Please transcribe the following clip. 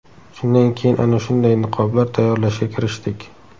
Shundan keyin ana shunday niqoblar tayyorlashga kirishdik.